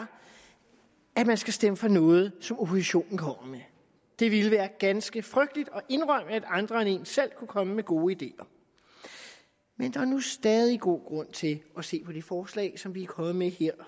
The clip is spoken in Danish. at man skal stemme for noget som oppositionen kommer med det ville være ganske frygteligt at indrømme at andre end en selv kunne komme med gode ideer men der er nu stadig god grund til at se på det forslag som vi er kommet med her